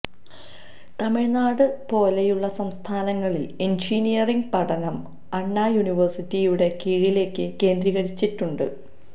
തമിഴ്നാട് പോലെയുള്ള സംസ്ഥാനങ്ങളില് എഞ്ചിനീയറിംഗ് പഠനം അണ്ണാ യൂണിവേഴ്സിറ്റിയുടെ കീഴിലേക്ക് കേന്ദ്രീകരിച്ചിട്ടുണ്ട്